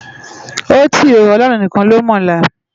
Óti ó, Òlòrún nikán ló mòlá